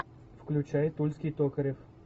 включай тульский токарев